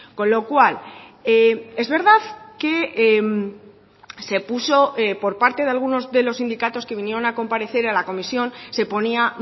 con lo cual es verdad que se puso por parte de algunos de los sindicatos que vinieron a comparecer a la comisión se ponía